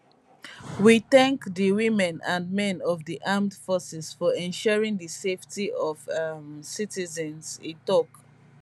we thank di women and men of di armed forces for ensuring di safety of um citizens e tok